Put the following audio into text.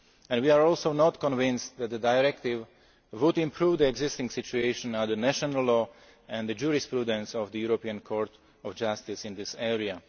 We are also not convinced that the Directive would improve the existing situation under national law and the jurisprudence of the European Court of Justice in this